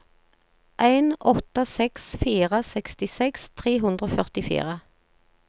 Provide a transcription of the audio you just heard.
en åtte seks fire sekstiseks tre hundre og førtifire